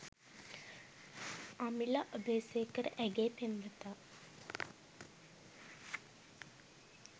අමිල අබේසේකර ඇගේ පෙම්වතා